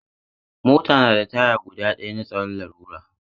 Mota na da taya guda ɗaya na tsaron lalura.